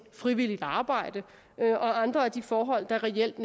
frivilligt arbejde og andre af de forhold der reelt